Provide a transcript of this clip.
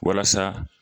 Walasa